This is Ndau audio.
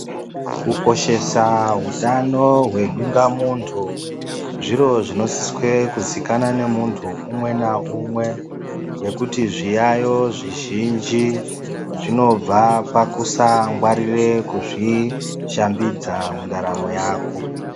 Kukoshesa utano hwedungamuntu zviro zvinosiswe kuzikanwa nemuntu umwe naumwe ngekuti zviyaiyo zvizhinji zvinobva pakusangwarira kuzvishambidza mundaramo yako.